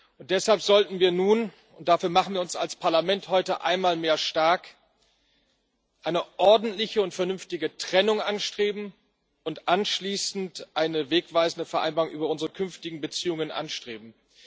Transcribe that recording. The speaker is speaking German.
Und deshalb sollten wir nun und dafür machen wir uns als Parlament heute einmal mehr stark eine ordentliche und vernünftige Trennung und anschließend eine wegweisende Vereinbarung über unsere künftigen Beziehungen anstreben.